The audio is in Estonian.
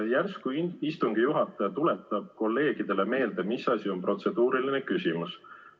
Järsku istungi juhataja tuletab kolleegidele meelde, mis asi on protseduuriline küsimus.